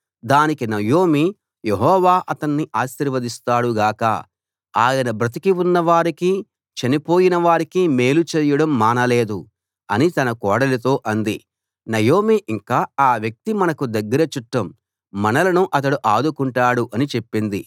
దానికి నయోమి యెహోవా అతణ్ణి ఆశీర్వదిస్తాడు గాక ఆయన బ్రతికి ఉన్నవారికీ చనిపోయినవారికీ మేలు చేయడం మానలేదు అని తన కోడలితో అంది నయోమి ఇంకా ఆ వ్యక్తి మనకు దగ్గర చుట్టం మనలను అతడు ఆదుకొంటాడు అని చెప్పింది